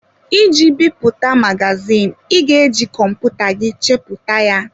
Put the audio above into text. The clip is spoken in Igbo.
Iji bipụta magazin, ị ga-eji kọmputa gị chepụta ya.